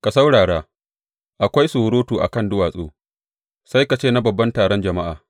Ka saurara, akwai surutu a kan duwatsu, sai ka ce na babban taron jama’a!